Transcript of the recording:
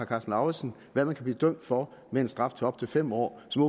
karsten lauritzen hvad man kan blive dømt for med en straf på op til fem år og som